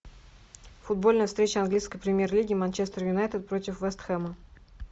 футбольная встреча английской премьер лиги манчестер юнайтед против вест хэма